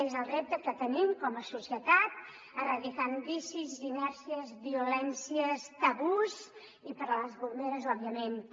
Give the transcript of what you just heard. és el repte que tenim com a societat erradicant vicis inèrcies violències tabús i per a les bomberes òbvia·ment també